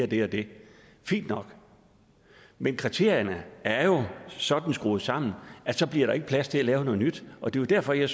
det og det fint nok men kriterierne er jo sådan skruet sammen at så bliver der ikke plads til at lave noget nyt og det er derfor jeg